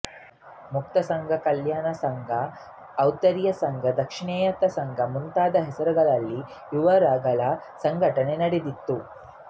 ಮುಕ್ತಿ ಸಂಘ ಕಲ್ಯಾಣ ಸಂಘ ಔತ್ತರೇಯ ಸಂಘ ದಾಕ್ಷಿಣಾತ್ಯ ಸಂಘ ಮುಂತಾದ ಹೆಸರುಗಳಲ್ಲಿ ಇವುರಗಳ ಸಂಘಟನೆ ನಡೆದಿತ್ತು